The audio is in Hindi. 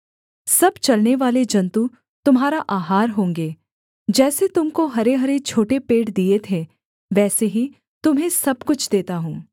सब चलनेवाले जन्तु तुम्हारा आहार होंगे जैसे तुम को हरेहरे छोटे पेड़ दिए थे वैसे ही तुम्हें सब कुछ देता हूँ